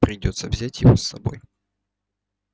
придётся взять его с собой